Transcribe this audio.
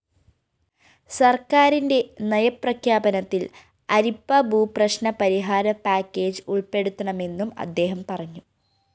സര്‍ക്കാരിന്റെ നയപ്രഖ്യാപനത്തില്‍ അരിപ്പഭൂപ്രശ്‌നപരിഹാര പാക്കേജ്‌ ഉള്‍പ്പെടുത്തണമെന്നും അദ്ദേഹം പറഞ്ഞു